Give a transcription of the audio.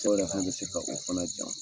Dɔw yɛrɛ fana bɛ se ka o fana jan.